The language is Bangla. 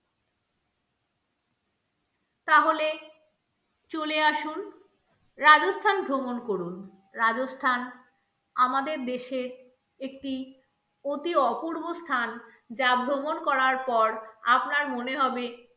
তাহলে চলে আসুন, রাজস্থান ভ্রমণ করুন, রাজস্থান আমাদের দেশের একটি অতি অপূর্ব স্থান যা ভ্রমণ করার পর আপনার মনে হবে